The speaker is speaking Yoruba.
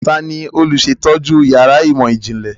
Tani olùsètọ́jú yàrá ìmọ̀-ìjìnlẹ̀?